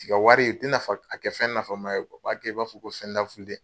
U t'i ka wari ,u tɛ nafa u t'a kɛ fɛn nafa ma ye u bɛ kɛ i n'a fɔ ko fɛn laafulen!